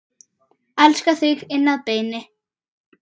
Elska þig inn að beini.